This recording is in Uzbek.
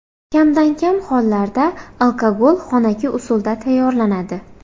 Kamdan-kam hollarda alkogol xonaki usulda tayyorlanadi.